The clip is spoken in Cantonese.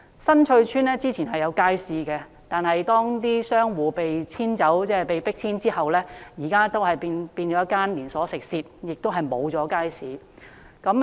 新翠邨之前亦有街市，但商戶被迫遷之後，現時已變成一間連鎖食肆，再沒有街市了。